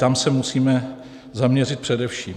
Tam se musíme zaměřit především.